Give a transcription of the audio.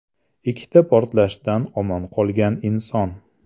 Ikkita portlashdan omon qolgan inson.